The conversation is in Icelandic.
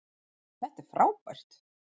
Þetta er frábært!